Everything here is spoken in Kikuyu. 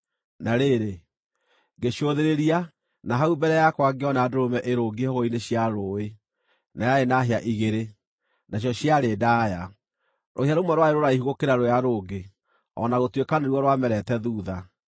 Na rĩrĩ, ngĩcũthĩrĩria, na hau mbere yakwa ngĩona ndũrũme ĩrũngiĩ hũgũrũrũ-inĩ cia rũũĩ, na yarĩ na hĩa igĩrĩ, nacio ciarĩ ndaaya. Rũhĩa rũmwe rwarĩ rũraihu gũkĩra rũrĩa rũngĩ, o na gũtuĩka nĩruo rwamerete thuutha.